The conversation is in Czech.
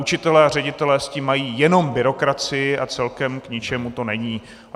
Učitelé a ředitelé s tím mají jenom byrokracii a celkem k ničemu to není.